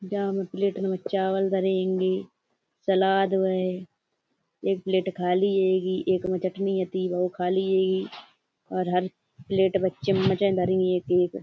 जामे प्लेट में चावल धरे हेंगे सालाद है। एक प्लेट खाली हेगी एक में चटनी हति वोऊ खाली हेगी और हर प्लेट में चम्मचे धरी हैं एक एक।